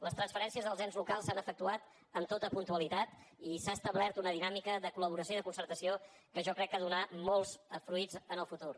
les transferències als ens locals s’han efectuat amb tota puntualitat i s’ha establert una dinàmica de collaboració i de concertació que jo crec que ha de donar molts fruits en el futur